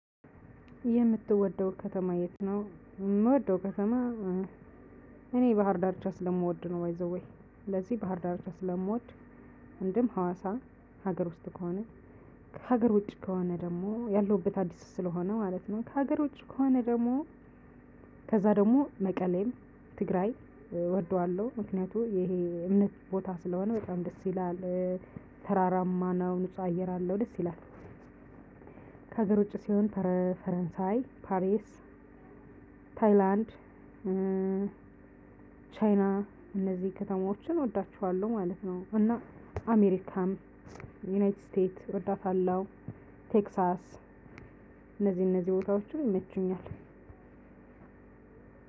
የምትወደው ከተማ የት? ነው የምወደው ከተማ እኔ ባህር ዳርቻ ስለምወድ ነው ባይ ዘ ዌይ ስለዚህ ባህር ዳር ስለምወድ። እንድም ሀዋሳ ሀገር ውስጥ ከሆነ ከሀገር ውጪ ከሆነ ደግሞ ያለውበት አዲስ ስለሆነ ማለት ነው። ከሀገር ውጪ ከሆነ ደግሞ ከዛ ደግሞ መቀሌም ትግራይ እወደዋለሁ ምክንያቱም ይሄ እምነት ቦታ ስለሆነ በጣም ደስ ይላል። ተራራማ ነው ንጹህ አየር አለው ደስ ይላል። ከሀገር ውጭ ሲሆን ፈረንሳይ ፓሪስ ታይላንድ ቻይና እነዚህ ከተማዎችን እወዳቸዋለሁ ማለት ነው። እና አሜሪካም ዩናይትድ ስቴት እወዳታለሁ ቴክሳስ እነዚህ እነዚህ ቦታዎችንም ይመቹኛል።